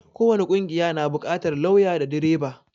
ko wani ƙungiya na buƙatar lauya da direba